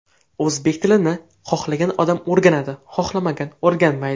O‘zbek tilini xohlagan odam o‘rganadi, xohlamagan o‘rganmaydi.